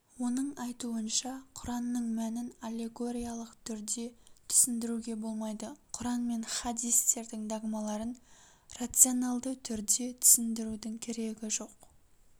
оның айтуынша құранның мәнін аллегориялык түрде түсіндіруге болмайды құран мен хадистердің догмаларын рационалды түрде түсіндірудің керегі жоқ